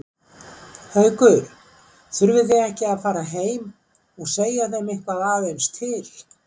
Haukur: Þurfið þið ekki að fara heim og segja þeim eitthvað aðeins til?